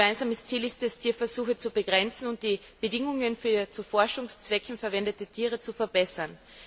Gemeinsames Ziel ist es, Tierversuche zu begrenzen und die Bedingungen für zu Forschungszwecken verwendete Tiere zu verbessern.